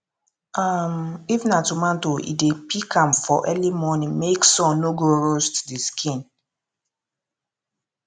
um if na tomato e dey pick am for early morning make sun no go roast the skin